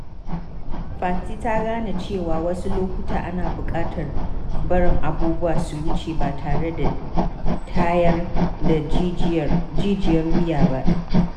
Fati ta gane cewa wasu lokuta ana bukatar barin abubuwa su wuce ba tare da tayar da jijiyar wuya ba.